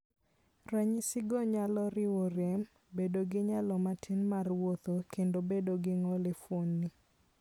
Ranyisigo nyalo riwo: rem, bedo gi nyalo matin mar wuotho, kendo bedo gi ng'ol e fuondni.